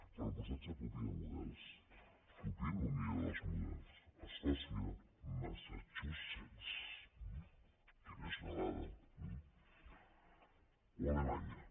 però posat a copiar models copiïn el millor dels models escòcia massachusetts eh o alemanya